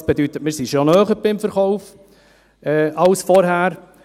Das bedeutet: Wir sind dem Verkauf schon näher als vorher.